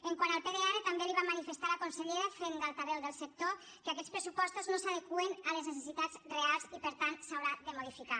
quant al pdr també li vam manifestar a la consellera fent d’altaveu del sector que aquests pressupostos no s’adeqüen a les necessitats reals i per tant s’hauran de modificar